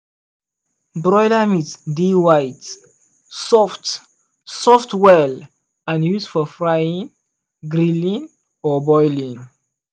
broiler meat dey white soft soft well and used for frying grilling or boiling.